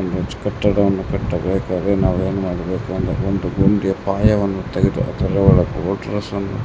ಒಂದು ಕಟ್ಟಡವನ್ನು ಕಟ್ಟಬೇಕಾದರೆ ನಾವು ಏನ್ ಮಾಡಬೇಕು ಅಂದ್ರೆ ಒಂದು ಗುಂಡಿ ಪಾಯವನ್ನು ತೆಗೆದು ಅದರ ಒಳಗೆ